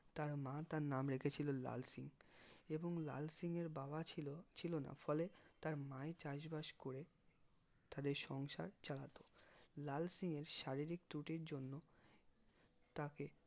তার মা তার নাম রেখেছিলেন লাল সিং এবং লাল সিংয়ের বাবা ছিল ছিল না ফলে তাই তার মা চাষ বাস করে তাদের সংসার চালাতো লাল সিং এর শারীরিক ত্রুটির জন্য তাকে